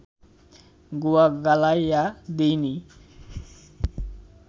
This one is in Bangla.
গুয়া গালাইয়া দিইনি